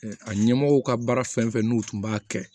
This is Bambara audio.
A ɲɛmɔgɔw ka baara fɛn fɛn n'u tun b'a kɛ